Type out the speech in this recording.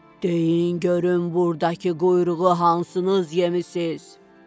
Deyin görüm burdakı quyruğu hansınız yemisiz?